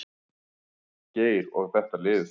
Geir og þetta lið.